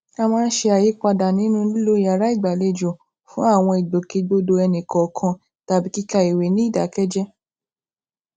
a máa ń ṣe àyípadà nínú lílo yàrá ìgbàlejò fún àwọn ìgbòkègbodò ẹni kọọkan tàbí kíka ìwé ní ìdákéjéé